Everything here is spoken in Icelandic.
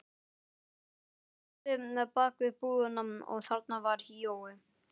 Hann hjólaði bak við búðina og þarna var Jói.